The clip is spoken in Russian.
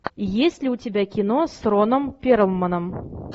есть ли у тебя кино с роном перлманом